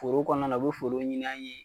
Foro kɔnɔna na o be folo ɲinin an ye